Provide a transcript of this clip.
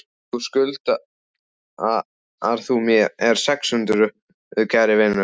Þá skuldar þú mér sex hundruð, kæri vinur.